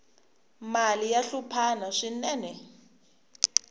mali ya hluphana swinene